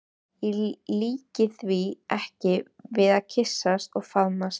Ég líki því ekki við að kyssast og faðmast.